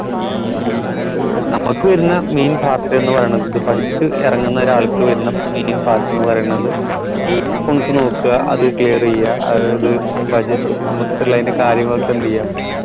നമുക്ക് വരുന്ന main part എന്ന് പറയണത് ഇത് പഠിച്ച് ഇറങ്ങുന്ന ഒരാൾക്ക് വരുന്ന main part ന്ന് പറയണത് ഈ accounts നോക്ക അത് clear യ്യ അതായത് budgets മൊത്തത്തിൽ അയിന്റെ കാര്യങ്ങളൊക്കെ എന്ത് യ്യാ